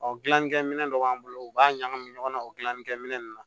Ɔ gilanni kɛminɛ dɔ b'an bolo u b'a ɲagami ɲɔgɔn na o gilani kɛminɛ nunnu na